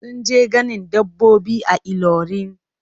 Sun je ganin dabbobi a Ilorin.